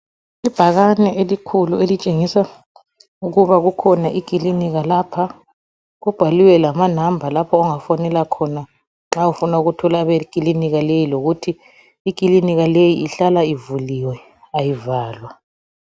Ibhàkani elikhulu etshengisa ukuba kukhona ikilinika lapha, kubhaliwe lamanàmba lapho ongafonela khona nxa ufuna ukuthola abekilinika leyi lokuthi ikilinika leyi ihlala ivuliwe ayivalwa.